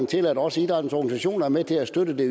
til at også idrættens organisationer er med til at støtte det